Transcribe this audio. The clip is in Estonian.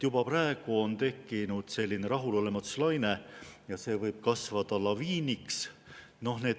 Juba praegu on tekkinud selline rahulolematuse laine, mis võib kasvada laviiniks.